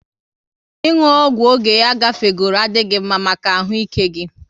Ị nwu ọgwụ oge ya gafegoro adịghị mma maka ahụ ike gị